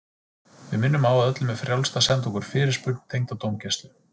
Við minnum á að öllum er frjálst að senda okkur fyrirspurn tengda dómgæslu.